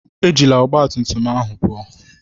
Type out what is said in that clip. Ejila ọgbatumtum ahụ pụọ!